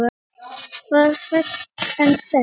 Ég var hrædd en sterk.